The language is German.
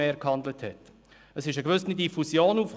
Es kam eine gewisse Diffusion auf.